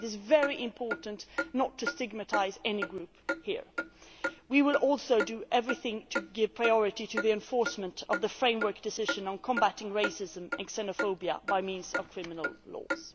It is very important not to stigmatise any group here. We will also do everything to give priority to the enforcement of the Framework Decision on combatting racism and xenophobia by means of criminal